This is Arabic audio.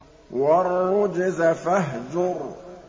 وَالرُّجْزَ فَاهْجُرْ